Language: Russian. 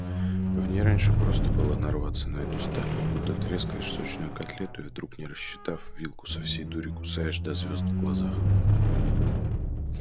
в ней раньше просто было нарваться на эту сталь будто трескаешь сочную котлету и вдруг не рассчитав вилку со всей дури кусаешь до звёзд в глазах